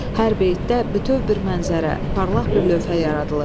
Hər beytdə bütöv bir mənzərə, parlaq bir lövhə yaradılıb.